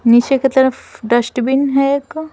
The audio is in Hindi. नीचे की तरफ डस्ट बिन है एक--